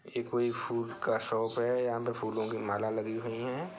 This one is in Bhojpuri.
ये कोई फूल का शॉप है यहाँ पे फूलों की माला लगी हुई है।